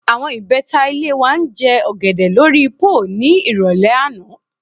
Àwo̩n ìbé̩ta ilé wa ń je̩ ò̩gè̩dè̩ lórí póò ní ìrò̩lé̩ àná